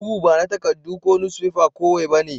Bugu ba na takaddu ko nusfefa kowai ba ne.